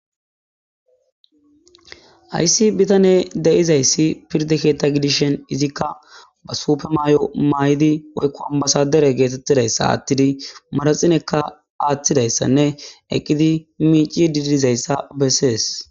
ayssi bitane deizayssi pirde keetta gidishen izikka ba suupe maay7o may7di woykku ambasadere geetettidayssa aattidi maraxinekka aaththidayssanne eqqidi miici didizayssa bessees